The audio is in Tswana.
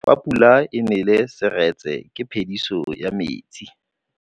Fa pula e nelê serêtsê ke phêdisô ya metsi.